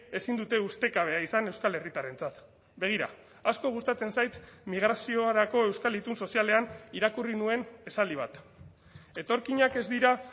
ezin dute ustekabea izan euskal herritarrentzat begira asko gustatzen zait migraziorako euskal itun sozialean irakurri nuen esaldi bat etorkinak ez dira